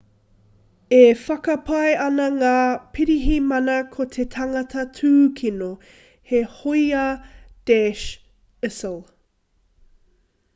e whakapae ana ngā pirihimana ko te tangata tūkino he hōia daesh isil